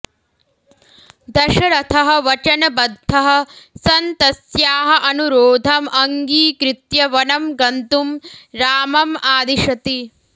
दशरथः वचनबद्धः सन् तस्याः अनुरोधम् अङ्गीकृत्य वनं गन्तुं रामम् आदिशति